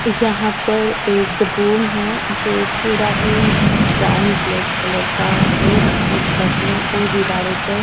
यहाँ हर एक रूम है जो पूरा ही ब्राउन ब्लैक कलर का है जिसमे छत में और दीवारों पर --